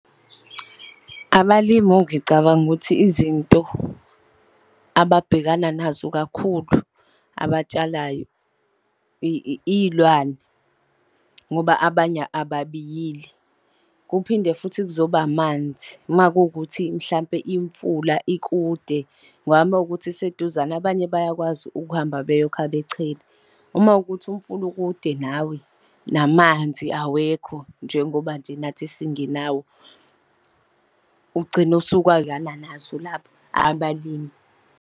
Abalimi ngicabanga ukuthi izinto ababhekana nazo kakhulu abatshalayo, iy'lwane, ngoba abanye ababiyile. Kuphinde futhi kuzoba amanzi, makuwukuthi mhlampe imfula ikude, ngoba uma kuwukuthi iseduzane abanye bayakwazi ukuhamba beyokha bechele. Uma kuwukuthi umfula ukude nawe, namanzi awekho, njengoba nje nathi singenayo, ugcine abalimi.